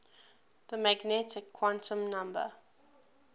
the magnetic quantum number